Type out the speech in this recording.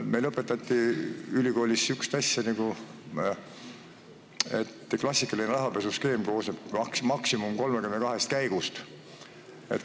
Meile õpetati ülikoolis säärast asja, et klassikaline rahapesuskeem koosneb maksimum 32 käigust.